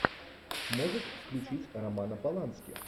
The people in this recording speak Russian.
можешь включить романа полански